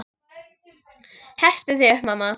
Hertu þig upp, mamma.